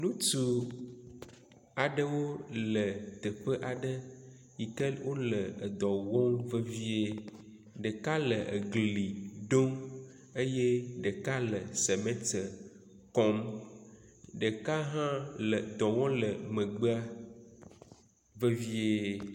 Ŋutsu ɖewo le teƒe aɖe yi ke wo le edɔ wɔm vevie. Ɖeka le egi ɖom eye ɖeka le simiti kɔm ɖeka hã le dɔwɔm le megbea vevie.